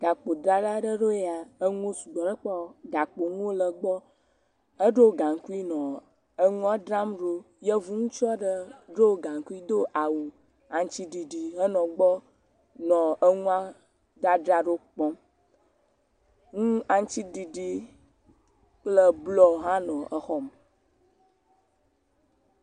Gakpodzrala ɖe ɖo ya. Enuwo sugbɔ ɖe egbɔ. Gakpo nuwo le egbɔ. Edo gankui nɔ enua dzra ɖo. Yevu ŋutsu aɖe ɖɔ gankui do awu aŋutiɖiɖi henɔ egbɔ nɔ enua dzadzra ɖo kpɔm. Nu aŋutiɖiɖi kple bluɔ hã nɔ xɔa me.